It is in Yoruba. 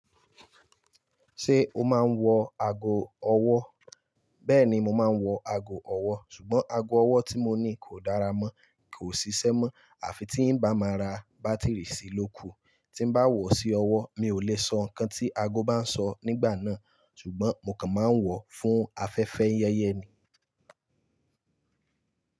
Ṣé o máa ń wọ ago ọwọ́? Bẹ́ẹ̀ni mo máa ń wọ ago ọwọ́ sùgbọ́n ago ọwọ́ tí mo ní kò dára mọ́ kò sisẹ́ mọ́ àfi tí ń bá máa ra bátíìrì sí lóku. Tí bá wọ̀ sí ọwọ́ mi ò le sọ nǹkan tí ago bá ń sọ nígbà náà ṣùgbọ́n mo kàn máa ń wọ̀ fún afẹ́fẹ́ yẹyẹ ni.